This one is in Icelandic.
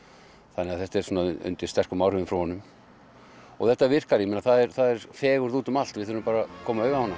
þannig að þetta er undir sterkum áhrifum frá honum og þetta virkar það er fegurð úti um allt við þurfum bara að koma auga á hana